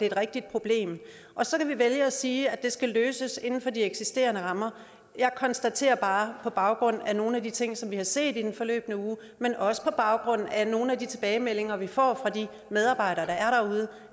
et rigtigt problem så kan vi vælge at sige at det skal løses inden for de eksisterende rammer jeg konstaterer bare på baggrund af nogle af de ting som vi har set i den forløbne uge men også på baggrund af nogle af de tilbagemeldinger vi får fra de medarbejdere der er derude